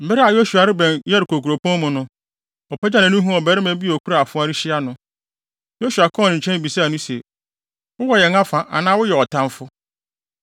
Bere a Yosua rebɛn Yeriko kuropɔn mu no, ɔpagyaw nʼani huu ɔbarima bi a okura afoa rehyia no. Yosua kɔɔ ne nkyɛn bisaa no se, “Wowɔ yɛn afa anaa woyɛ ɔtamfo?”